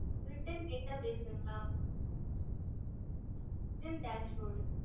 reten teas bord okey